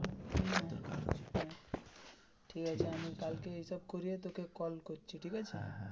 হম ঠিক আছে কালকে এই সব করে তোকে call করছি ঠিক আছে.